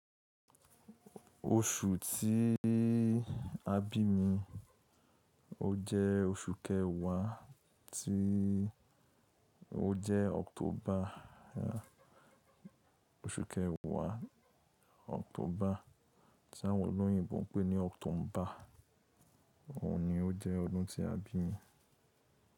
Oṣù tí a bí mi, ó jẹ́ oṣù kẹwàá tí ó jẹ́ October. Oṣù kẹwàá October tí àwọn olóyìnbo ń pè ní October ọ̀ní ó jẹ́ ọdún tí a bí mi.